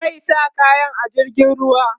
zai sa kayan a jirgin ruwa